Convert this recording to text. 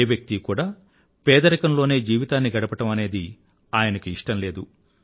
ఏ వ్యక్తీ కూడా ఏదరికంలోనే జీవితాన్ని గడపడం అనేది ఆయనకు ఇష్టం లేదు